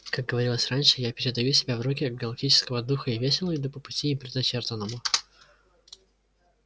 как говорилось раньше я передаю себя в руки галактического духа и весело иду по пути им предначертанному